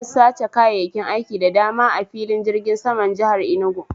An sace kayayyakin aiki da dama a firgin saman jihar Inugu